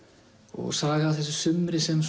og saga af þessu sumri sem